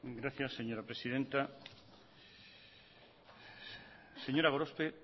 gracias señora presidenta señora gorospe